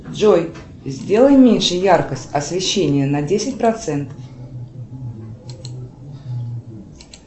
джой сделай меньше яркость освещения на десять процентов